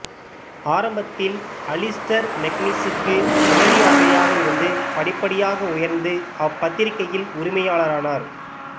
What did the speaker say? ஆரம்பத்தில் அலிஸ்டர் மெக்கன்சிக்கு உதவி ஆசிரியராக இருந்து படிப்படியாக உயர்ந்து அப்பத்திரிகையில் உரிமையாளரானார்